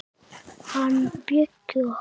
Hann Bjöggi okkar.